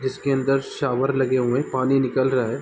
इसके अंदर शावर लगे हुए हैं पानी निकल रहा है।